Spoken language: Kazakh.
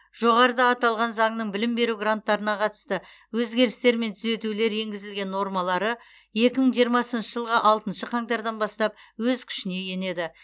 жоғарыда аталған заңның білім беру гранттарына қатысты өзгерістер мен түзетулер енгізілген нормалары екі мың жиырмасыншы жылғы алтыншы қаңтардан бастап өз күшіне енеді